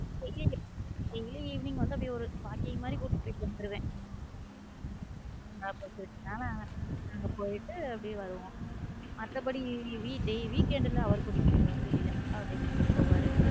Evening walking மாதிரி கூட்டிட்டு போயிட்டு வந்துடுவேன் அங்க போயிட்டு வருவோம் மத்தபடி weekend அவர் கூட்டிட்டு போயிடு வந்துருவாரு வெளியில.